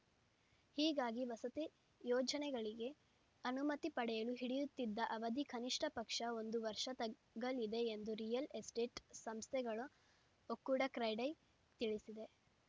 ಹೀಗಾಗಿ ವಸತಿ ಯೋಜನೆಗಳಿಗೆ ಅನುಮತಿ ಪಡೆಯಲು ಹಿಡಿಯುತ್ತಿದ್ದ ಅವಧಿ ಕನಿಷ್ಠ ಪಕ್ಷ ಒಂದು ವರ್ಷ ತಗ್ಗಲಿದೆ ಎಂದು ರಿಯಲ್‌ ಎಸ್ಟೇಟ್‌ ಸಂಸ್ಥೆಗಳ ಒಕ್ಕೂಡ ಕ್ರೆಡೈ ತಿಳಿಸಿದೆ